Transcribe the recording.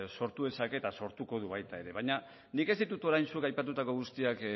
sortu dezake eta sortuko dut baita ere baina nik ez ditu orain zuk aipatutako guztiak